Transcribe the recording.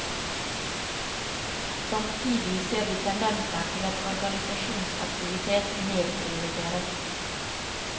Samtidig ser vi tendenser til at organisasjonsaktivitet nedprioriteres.